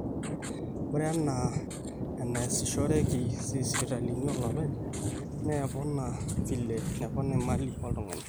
ore enaa enaasishoreki isipitalini ooloopeny naa epona vile nepona imali oltung'ani